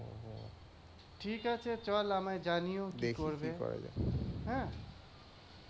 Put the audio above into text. ঠিকাছে চল আমায় জানিও কি করবে, হ্যাঁ।